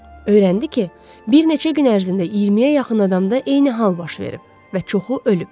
Öyrəndi ki, bir neçə gün ərzində 20-yə yaxın adamda eyni hal baş verib və çoxu ölüb.